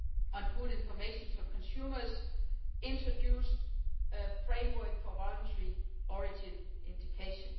on food information to consumers introduced a framework for voluntary origin indications.